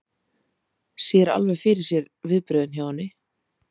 Sér alveg fyrir sér viðbrögðin hjá henni.